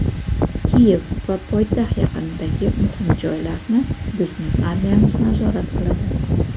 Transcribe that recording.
Kiyev va poytaxt yaqinidagi muhim joylarni bizning armiyamiz nazorat qiladi.